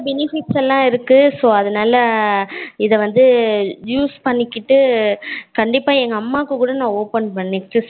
benefits எல்லாம் இருக்கு. so அதுனால இத வந்து use பண்ணிக்கிட்டு கண்டிப்பா எங்க அம்மாக்கு கூட நா open பண்ணிட்டு salary